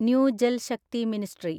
new Jal Shakti ministry